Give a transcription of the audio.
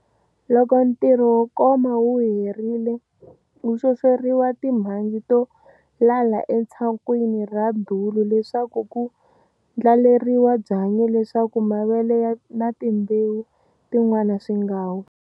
Loko ntirho wo koma wu herile ku xoxeriwa timhandzi to lala etshakwini ra dulu leswaku ku ndlaleriwa byanyi leswaku mavele na timbewu tin'wana swi nga wi.